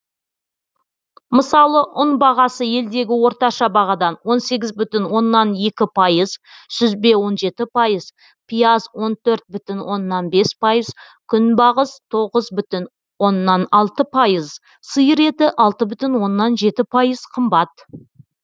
мысалы ұн бағасы елдегі орташа бағадан он сегіз бүтін оннан екі пайыз сүзбе он жеті пайыз пияз он төрт бүтін оннан бес пайыз күнбағыс тоғыз бүтін оннан алты пайыз сиыр еті алты бүтін оннан жеті пайыз қымбат